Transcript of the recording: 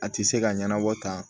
A ti se ka ɲɛnabɔ tan